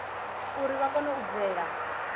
uri vha kone u bvela